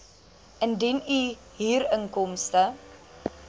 indien u huurinkomste